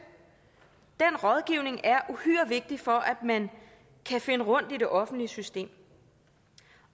rådgivning er uhyre vigtig for at man kan finde rundt i det offentlige system